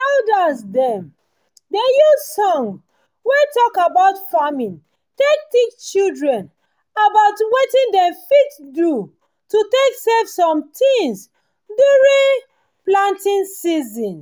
elders dem dey use songs wey talk about farming take teach children about wetin dem fit do to take save some tins during planting season